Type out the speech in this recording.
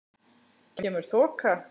Kemur þoka.